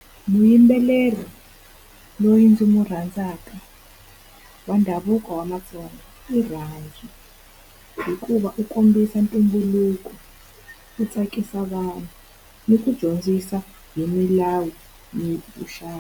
Muyimbeleri loyi ndzi n'wi rhandzaka wa ndhavuko wa vaTsonga i Rhandzu hikuva u kombisa ntumbuluko, u tsakisa vanhu, ni ku dyondzisa hi milawu ni .